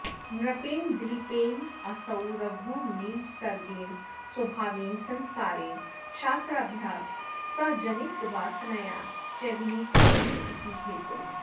नृपेण दिलीपेनासौ रघुर्निसर्गेण स्वभावेन संस्कारेण शास्त्राभ्यासजनितवासनया च विनीतो नम्र इति हेतोः